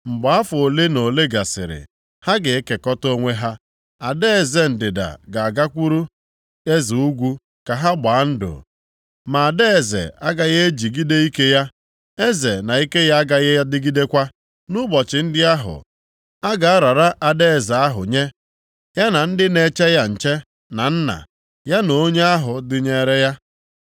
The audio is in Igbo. Mgbe afọ ole na ole gasịrị, ha ga-ekekọta onwe ha. Ada eze ndịda ga-agakwuru eze ugwu ka ha gbaa ndụ, ma ada eze agaghị ejigide ike ya, eze na ike ya agaghị adịgidekwa. Nʼụbọchị ndị ahụ, a ga-arara ada eze ahụ nye, ya na ndị na-eche ya nche, na nna + 11:6 Akwụkwọ ochie na-ede nwa ya na onye ahụ dịnyeere ya.